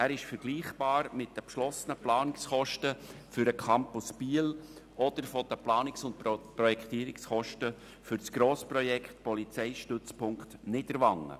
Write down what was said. Er ist vergleichbar mit den beschlossenen Planungskosten für den Campus Biel oder mit den Planungs- und Projektierungskosten für das Grossprojekt «Polizeistützpunkt Niederwangen».